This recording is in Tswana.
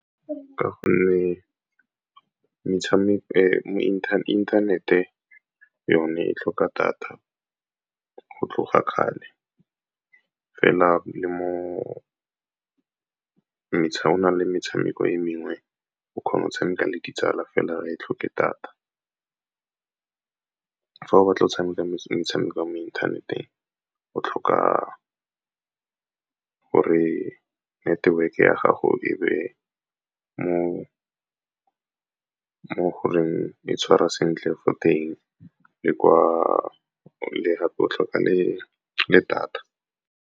Ka gonne inthanete yone e tlhoka data go tloga kgale, fela go na le metshameko e mengwe o kgona go tshameka le ditsala fela, ga e tlhoke data. Fa o batla go tshameka metshameko ya mo inthaneteng o tlhoka gore network-e ya gago e be mo goreng e tshwara sentle fo teng, le gape o tlhoka le data.